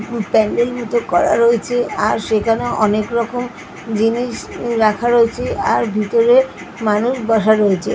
প্যান্ডেল মতো করা রয়েছে আর সেখানে অনেক রকম জিনিস রাখা রয়েছে আর ভিতরে মানুষ বসা রয়েছে .